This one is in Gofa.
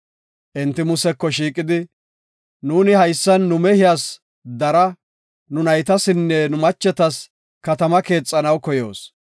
Enti Museko shiiqidi, “Nuuni haysan nu mehiyas dara, nu naytasinne nu machetas katama keexanaw koyoos.